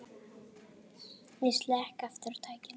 Ég slekk aftur á tækinu.